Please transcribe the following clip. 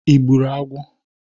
I gburu agwo?